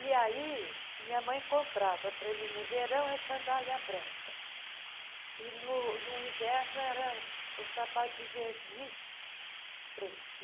E aí minha mãe comprava para mim no verão sandália branca e no no inverno era o sapato de verniz preto.